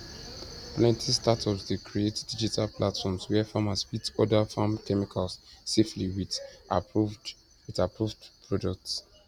plenty startups dey create digital platforms where farmers fit order farm chemicals safely with approved with approved products